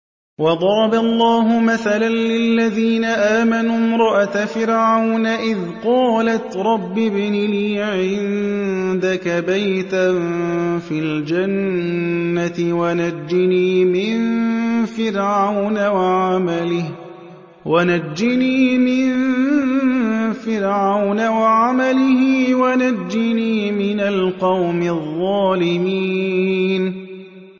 وَضَرَبَ اللَّهُ مَثَلًا لِّلَّذِينَ آمَنُوا امْرَأَتَ فِرْعَوْنَ إِذْ قَالَتْ رَبِّ ابْنِ لِي عِندَكَ بَيْتًا فِي الْجَنَّةِ وَنَجِّنِي مِن فِرْعَوْنَ وَعَمَلِهِ وَنَجِّنِي مِنَ الْقَوْمِ الظَّالِمِينَ